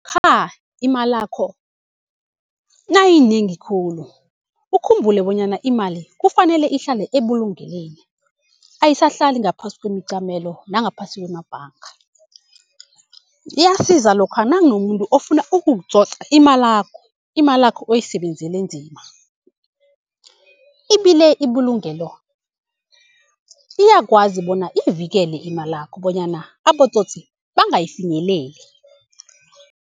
Lokha imalakho nayiyinengi khulu ukhumbule bonyana imali kufanele ihlale ebulungelweni, ayisahlali ngaphasi kwemicamelo nangaphasi kwemabhanga. Iyasiza lokha nakunomuntu ofuna ukukutsotsa imalakho, imalakho oyisebenzele nzima. Ibile ibulungelo iyakwazi bona ivikele imalakho bonyana abotsotsi bangayifinyeleli.